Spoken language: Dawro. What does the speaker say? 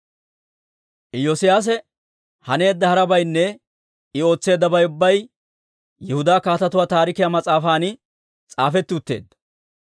Iyoosiyaase haneedda harabaynne I ootseeddabay ubbay Yihudaa Kaatetuwaa Taarikiyaa mas'aafan s'aafetti utteedda.